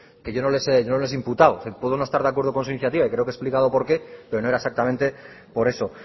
que yo no les he imputado que puedo no estar de acuerdo con su iniciativa y creo que he explicado por qué pero no era exactamente por eso